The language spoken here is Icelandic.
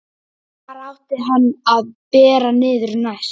Hvar átti hann að bera niður næst?